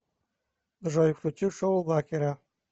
джой включи шоу лакера